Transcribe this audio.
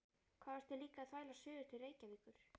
Hvað varstu líka að þvælast suður til Reykjavíkur?